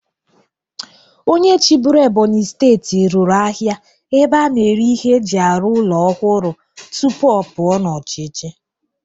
Onye chịbụrụ Ebonyi steeti rụrụ ahịa ebe a na-ere ihe eji arụ ụlọ ọhụrụ tupu ọ pụọ n'ọchịchị.